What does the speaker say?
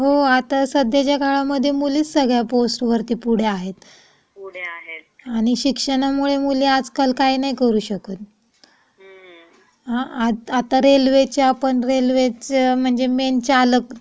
हो आता साध्यच्या काळामध्ये मुलीचा सगळ्या पोस्ट मध्ये पुढे आहे आणि शिक्षणामुळे मुळे आजकाल काय नाही करू शकत. आता रेल्वेच्या पण रेल्वेचे म्हणजे मेन चालक पहिले पुरुष असायचे पण ता स्त्री आपण